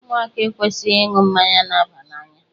Ụmụaka ekwesịghị ịṅụ mmanya na-aba n'anya.